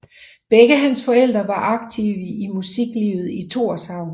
Begge hans forældre var aktive i musiklivet i Tórshavn